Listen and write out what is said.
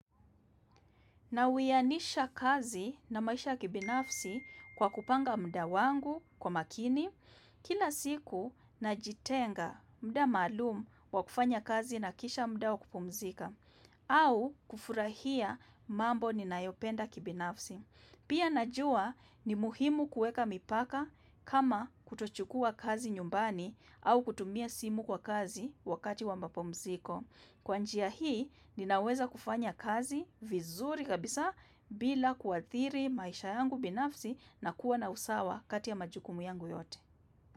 Na uwianisha kazi na maisha ya kibinafsi kwa kupanga mda wangu kwa makini kila siku najitenga muda maluum wa kufanya kazi na kisha muda wa kupumzika au kufurahia mambo ninayopenda kibinafsi. Pia najua ni muhimu kuweka mipaka kama kutochukuwa kazi nyumbani au kutumia simu kwa kazi wakati wamapumziko Kwa njia hii ninaweza kufanya kazi vizuri kabisa bila kuathiri maisha yangu binafsi na kuwa na usawa kati ya majukumu yangu yote.